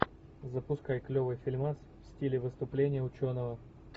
запускай клевый фильмас в стиле выступление ученого